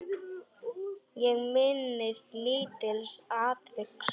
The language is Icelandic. Ég minnist lítils atviks.